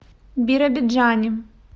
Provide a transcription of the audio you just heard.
биробиджане